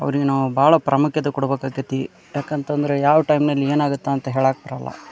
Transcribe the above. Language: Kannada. ಅವ್ರಿಗೆ ನಾವು ಬಹಳ ಪ್ರಾಮುಖ್ಯತೆ ಕೊಡಬೇಕಾತತಿ ಯಾಕಂತಂದ್ರೆ ಯಾವ ಟೈಮ್ ನಲ್ಲಿ ಏನ್ ಆಗುತ್ತೆ ಅಂತ ಹೇಳಕ್ ಬರಲ್ಲಾ.